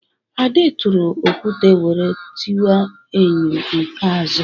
Ade tụrụ okwute wéré tiwa enyo nke azụ